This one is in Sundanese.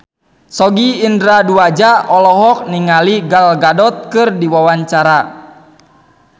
Sogi Indra Duaja olohok ningali Gal Gadot keur diwawancara